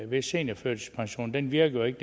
ved seniorførtidspensionen den virker jo ikke